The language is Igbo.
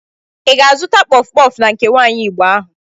Ị ga-azụta kpọf kpọf na nke nwaanyi Igbo ahụ?